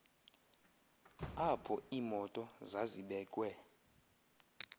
apho iimoto zazibekwe